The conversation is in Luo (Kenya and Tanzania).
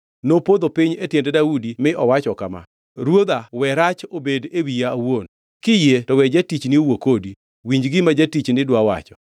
Nopodho piny e tiend Daudi mi owacho kama: “Ruodha we rach obed e wiya awuon. Kiyie to we jatichni owuo kodi; winj gima jatichni dwa wacho.